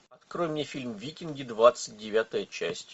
открой мне фильм викинги двадцать девятая часть